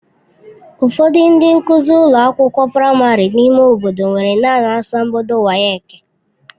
Ụfọdụ ndị nkụzi ụlọ akwụkwọ praịmarị n'ime obodo nwere naanị asambodo WAEki.